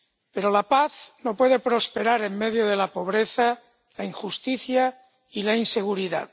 Pero la paz no puede prosperar en medio de la pobreza, la injusticia y la inseguridad.